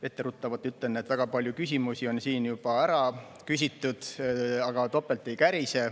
Etteruttavalt ütlen, et väga palju küsimusi on siin juba ära küsitud, aga topelt ei kärise.